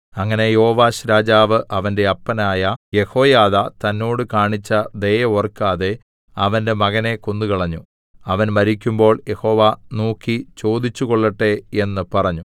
അങ്ങനെ യോവാശ്‌രാജാവ് അവന്റെ അപ്പനായ യെഹോയാദാ തന്നോട് കാണിച്ച ദയ ഓർക്കാതെ അവന്റെ മകനെ കൊന്നുകളഞ്ഞു അവൻ മരിക്കുമ്പോൾ യഹോവ നോക്കി ചോദിച്ചുകൊള്ളട്ടെ എന്ന് പറഞ്ഞു